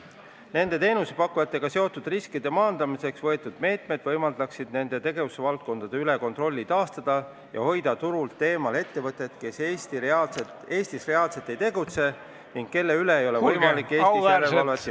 Nende teenusepakkujatega seotud riskide maandamiseks võetavad meetmed võimaldaksid nende tegevusvaldkondade üle kontrolli taastada ja hoida turult eemal ettevõtted, kes Eestis reaalselt ei tegutse ning kelle üle ei ole võimalik Eestis järelevalvet teostada.